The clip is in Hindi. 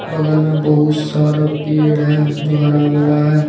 बगल में बहुत सारा पेड़ है जो हरा भरा है।